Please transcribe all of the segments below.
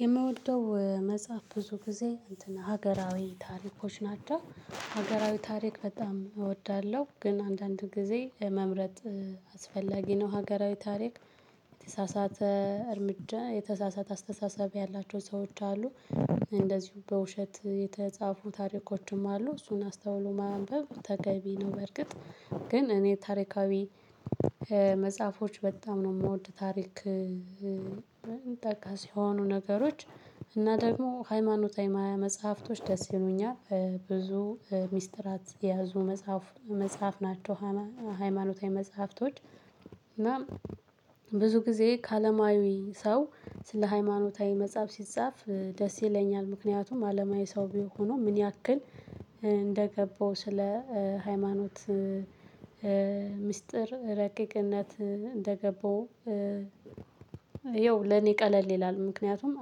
የምወደው መጽሐፍ ብዙ ጊዜ እንትን ሀገራዊ ታሪኮች ናቸው ሀገራዊ ታሪክ በጣም እወዳለሁ ግን አንዳንድ ጊዜ መምረጥ አስፈላጊ ነው። ሀገራዊ ታሪክ የተሳሳተ እርምጃ የተሳሳተ አስተሳሰብ ያላቸው ሰዎች አሉ። እንደዚሁ በውሸት የተጻፉ ታሪኮችም አሉ እሱን አስተውሎ ማንበብ ተገቢ ነው። በርግጥ ግን እኔ ታሪካዊ መጽሐፎች በጣም ነው የምወድ ታሪክ። ጠቀስ የሆኑ ነገሮች እና ደግሞ ሃይማኖታዊ መጽሐፍቶች ደስ ይሉኛል ብዙ ሚስጥራት የያዙ መጽሐፍ መጽሐፍ ናቸው። ሃይማኖታዊ መጽሐፍቶች እና ብዙ ጊዜ ከአለማዊ ሰው ስለ ሃይማኖታዊ መጽሐፍ ሲጻፍ ደስ ይለኛል። ምክንያቱም አለማዊ ሰው ቢሆኑ ምን ያክል እንደገባው ስለ ሃይማኖት። ምስጢር ረቂቅነት እንደገቡ ይኸው ለኔ ቀለል ይላል ምክንያቱም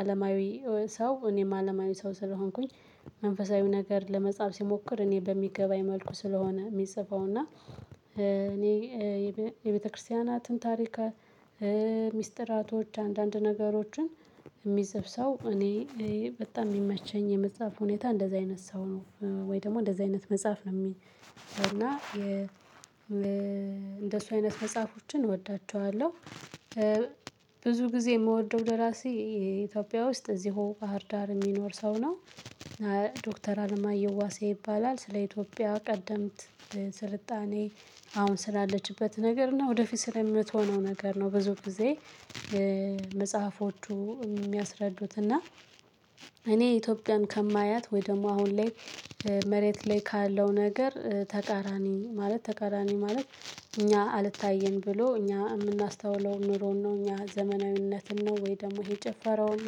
አለማዊ ሰው እኔም አለማዊ ሰው ስለሆንኩኝ። መንፈሳዊ ነገር ለመጻፍ ሲሞክር እኔ በሚገባኝ መልኩ ስለሆነ የሚጽፈው እና እኔ የቤተክርስቲያናትን ታሪክ። ሚስጥራቶች አንዳንድ ነገሮችን የሚፅፍ ሰው እኔ በጣም የሚመቸኝ የመጽሐፍ ሁኔታ እንደዚህ አይነት ሰው ነው። ወይ ደግሞ እንደዚህ አይነት መጽሐፍ ነው። የሚል እና እንደሱ አይነት መጽሐፎችን እወዳቸዋለሁ። ብዙ ጊዜ የምወደው ደራሲ የኢትዮጵያ ውስጥ እዚሁ ባህር ዳር የሚኖር ሰው ነው። ዶክተር አለማየሁ ዋሴ ይባላል ስለ ኢትዮጵያ ቀደምት ስልጣኔ አሁን ስላለችበት ነገር እና ወደፊት ስለምትሆነው ነገር ነው። ብዙ ጊዜ መጽሐፎቹ የሚያስረዱት እና እኔ ኢትዮጵያን ከማያት ወይ ደግሞ አሁን ላይ መሬት ላይ ካለው ነገር ተቃራኒ ማለት ተቃራኒ ማለት እኛ አልታየን ብሎ እኛ የምናስተውለውን ኑሮን ነው። እኛ ዘመናዊነትን ነው ወይ ደግሞ ይሄ ጭፈራውን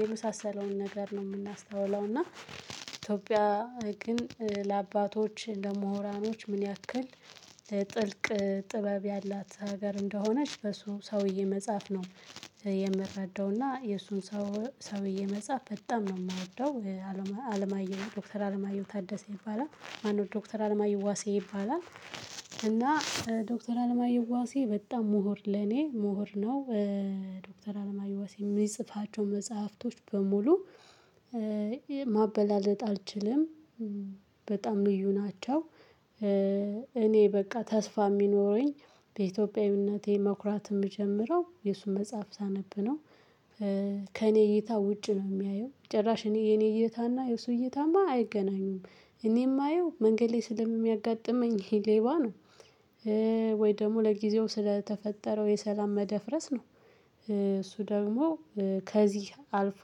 የመሳሰለውን ነገር ነው የምናስተውለው። እና ኢትዮጵያ ግን ለአባቶች እንደ ሙሁራኖች ምን ያክል ለጥልቅ ጥበብ ያላት ሀገር እንደሆነች በሱ ሰውዬ መጻፍ ነው። የምረዳው እና የእሱን ሰውዬ መጽሐፍ በጣም ነው የምወደው። አለማየሁ ዶክተር አለማየሁ ታደሰ ይባላል ማነው ዶክተር አለማየሁ ዋሴ ይባላል። እና ዶክተር አለማየዋሴ በጣም ምሁር ለኔ ምሁር ነው። ዶክተር አለማየዋሴ የሚጽፋቸው መጽሐፍቶች በሙሉ ማበላለጥ አልችልም። በጣም ልዩ ናቸው። እኔ በቃ ተስፋ የሚኖረኝ በኢትዮጵያዊነቴ መኩራት የምጀምረው የእሱን መጽሐፍ ሳነብ ነው። ከእኔ እይታ ውጭ ነው የሚያየው ጭራሽ እኔ የኔ እይታና የእሱ እይታማ አይገናኙም። እኔ የማየው መንገድ ላይ ስለሚያጋጥመኝ ይሄ ሌባ ነው። ወይ ደግሞ ለጊዜው ስለተፈጠረው የሰላም መደፍረስ ነው። እሱ ደግሞ ከዚህ አልፎ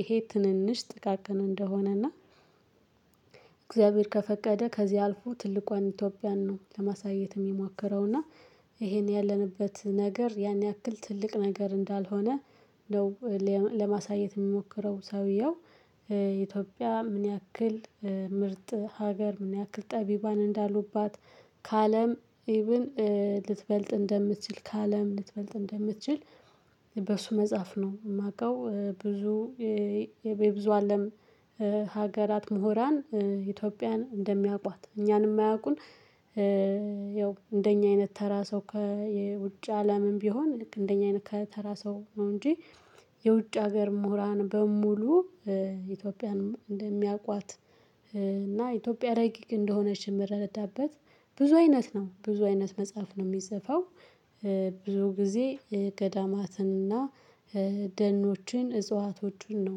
ይሄ ትንንሽ ጥቃቅን እንደሆነና እግዚአብሔር ከፈቀደ ከዚህ አልፎ ትልቋን ኢትዮጵያን ነው ለማሳየት የሚሞከረው። እና ይሄን ያለንበት ነገር ያን ያክል ትልቅ ነገር እንዳልሆነ ነው ለማሳየት የሚሞክረው ሰውየው። ኢትዮጵያ ምን ያክል ምርጥ ሀገር ምን ያክል ጠቢባን እንዳሉባት ከአለም ኢብን ልትበልጥ እንደምትችል ከአለም ልትበልጥ እንደምትችል በሱ መጽሐፍ ነው የማውቀው። ብዙ የብዙ አለም ሀገራት ምሁራን ኢትዮጵያን እንደሚያውቋት እኛንም የማያውቁን። ያው እንደኛ አይነት ተራ ሰው ከየውጭ አለምም ቢሆን ልክ እንደኛ አይነት ከተራ ሰው ነው እንጂ። የውጭ ሀገር ምሁራን በሙሉ ኢትዮጵያን እንደሚያውቋት። እና ኢትዮጵያ ረቂቅ እንደሆነች የምረዳበት ብዙ አይነት ነው ብዙ አይነት መጽሐፍ ነው የሚጽፈው። ብዙ ጊዜ ገዳማትንና ደኖችን እጽዋቶችን ነው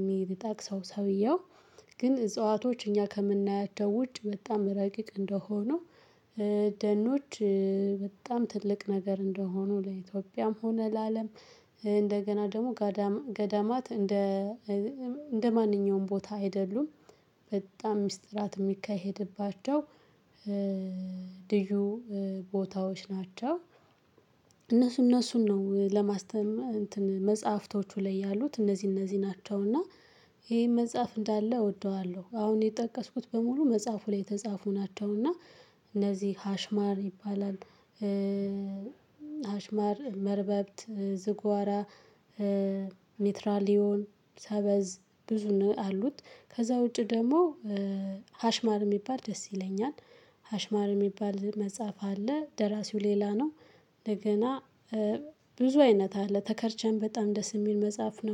የሚጠቅሰው ሰውየው። ግን እጽዋቶች እኛ ከምናያቸው ውጭ በጣም ረቂቅ እንደሆኑ። ደኖች በጣም ትልቅ ነገር እንደሆኑ ለኢትዮጵያም ሆነ ለአለም እንደገና ደግሞ ገዳማት እንደ እንደማንኛውም ቦታ አይደሉም። በጣም ሚስጥራት የሚካሄድባቸው ልዩ ቦታዎች ናቸው። እነሱ እነሱን ነው ለማስተማር እንትን መጽሐፍቶቹ ላይ ያሉት እነዚህ እነዚህ ናቸው። እና ይሄ መጽሐፍ እንዳለ እወደዋለሁ። አሁን የጠቀስኩት በሙሉ መጽሐፉ ላይ የተጻፉ ናቸው እና እነዚህ ሀሽማር ይባላል። ሀሽማር መርበብት ዝግዋራ ሜትራሊዮን ሰበዝ ብዙ ነው አሉት ከዛ ውጪ ደግሞ ሀሽማር የሚባል ደስ ይለኛል። ሀሽማር የሚባል መጽሐፍ አለ ደራሲው ሌላ ነው። እንደገና ብዙ አይነት አለ ተከርቸን በጣም ደስ የሚል መጽሐፍ ነው